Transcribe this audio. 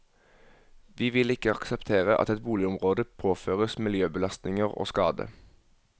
Vi vil ikke akseptere at et boligområde påføres miljøbelastninger og skade.